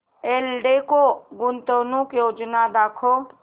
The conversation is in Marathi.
एल्डेको गुंतवणूक योजना दाखव